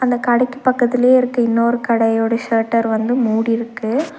அந்த கடைக்கு பக்கத்துலயே இருக்க இன்னொரு கடையோட ஷட்டர் வந்து மூடி இருக்கு.